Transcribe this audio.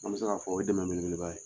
An be se k'a fɔ o ye dɛmɛ belebele ba ye.